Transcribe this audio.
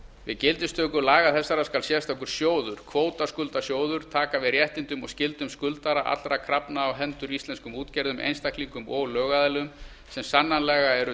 við gildistöku laga þessara skal sérstakur sjóður kvótaskuldasjóður taka við réttindum og skyldum skuldara allra krafna á hendur íslenskum útgerðum einstaklingum og lögaðilum sem sannanlega eru